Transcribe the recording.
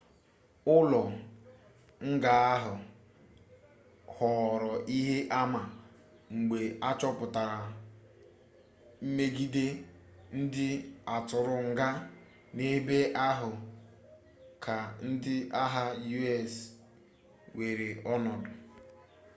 ụlọ nga ahụ ghọọrọ ihe ama mgbe achọpụtara mmegide ndị atụrụ nga n'ebe ahu ka ndị agha us weere ọnọdụ